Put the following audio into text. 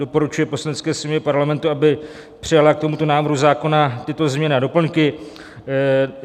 doporučuje Poslanecké sněmovně Parlamentu, aby přijala k tomuto návrhu zákona tyto změny a doplňky.